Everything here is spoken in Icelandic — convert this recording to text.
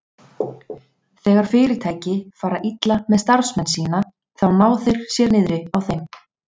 Þegar fyrirtæki fara illa með starfsmenn sína, þá ná þeir sér niðri á þeim.